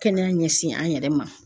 Kɛnɛya ɲɛsin an yɛrɛ ma.